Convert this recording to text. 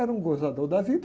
Era um gozador da vida.